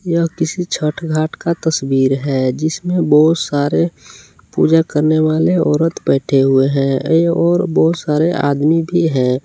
यह किसी छठ घाट का तस्वीर है जिसमें बहोत सारे पूजा करने वाले औरत बैठे हुए हैं और बहुत सारे आदमी भी है।